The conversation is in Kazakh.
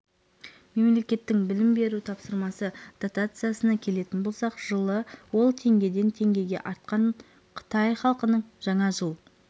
мемлекеттің білім беру тапсырысы дотациясына келетін болсақ жылы ол теңгеден теңгеге артқан қытай халқының жаңа жыл